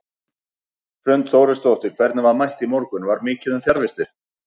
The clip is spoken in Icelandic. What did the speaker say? Hrund Þórisdóttir: Hvernig var mætt í morgun, var mikið um fjarvistir?